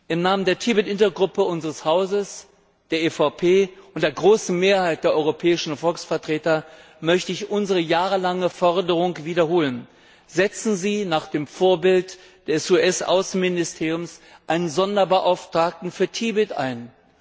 Im Namen der Tibet Intergruppe unseres Hauses, der EVP und der großen Mehrheit der europäischen Volksvertreter möchte ich unsere jahrelange Forderung wiederholen Setzen Sie nach dem Vorbild des US Außenministeriums einen Sonderbeauftragten für Tibet ein.